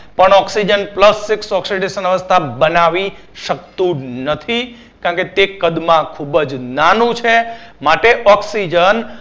પણ oxygen plus six oxidation અવસ્થા બનાવી શકતું નથી. કારણ કે તે કદ મા ખુબ જ નાનું છે માટે oxygen